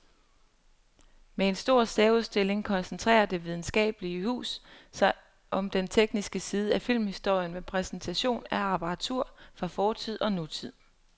Med en stor særudstilling koncentrerer det videnskabelige hus sig om den tekniske side af filmhistorien med præsentation af apparatur fra fortid og nutid.